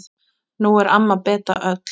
Nú er amma Beta öll.